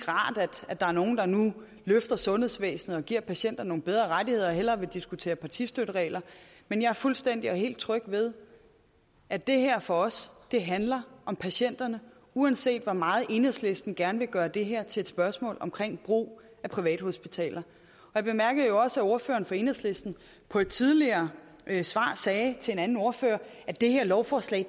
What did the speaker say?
rart at der er nogle der nu løfter sundhedsvæsenet og giver patienterne nogle bedre rettigheder og hellere vil diskutere partistøtteregler men jeg er fuldstændig og helt tryg ved at det her for os handler om patienterne uanset hvor meget enhedslisten gerne vil gøre det her til et spørgsmål om brug af privathospitaler jeg bemærkede også at ordføreren for enhedslisten på et tidligere svar sagde til en anden ordfører at det her lovforslag